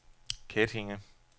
Kettinge